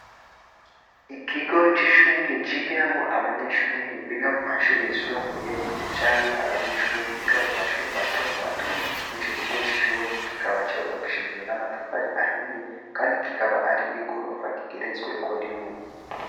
Ikigo c'ishuri, cigiramwo abanyeshuri biga mu mashuri yisumbuye, canke abanyeshuri biga mu mashuri mato mato, muri ico kigo c'ishuri, kikaba carubakishijwe n'amatafari ahiye, kandi kikaba ari igorofa igeretsweko rimwe.